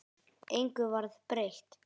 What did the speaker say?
Engu varð breytt.